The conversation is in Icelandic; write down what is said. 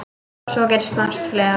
Svo gerist margt fleira.